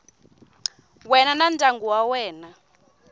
wena na ndyangu wa wena